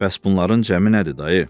Bəs bunların cəmi nədir dayı?